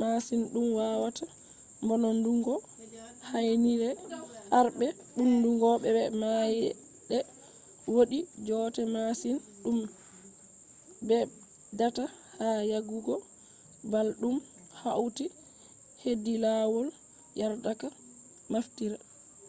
masin dum wawata mbononndungo henyre harbe mbumndungo be maayde. wodi joote masin dum beddata ha yarugo bal dum hauti hedi lawol yardaka naftira